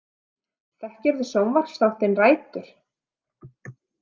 Þekkirðu sjónvarpsþáttinn Rætur?